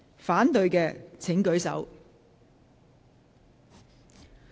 反對的請舉手。